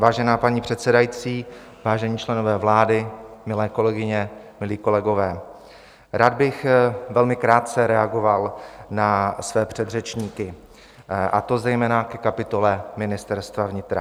Vážená paní předsedající, vážení členové vlády, milé kolegyně, milí kolegové, rád bych velmi krátce reagoval na své předřečníky, a to zejména ke kapitoly Ministerstva vnitra.